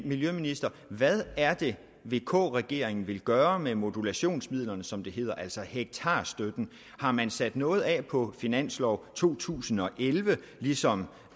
miljøministeren hvad er det vk regeringen vil gøre med modulationsmidlerne som det hedder altså hektarstøtten har man sat noget af på finansloven to tusind og elleve ligesom